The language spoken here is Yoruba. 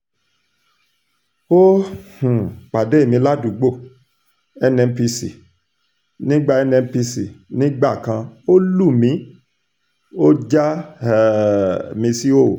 ó um pàdé mi ládùúgbò nnpc nígbà nnpc nígbà kan ó lù mí ó já um mi síhòhò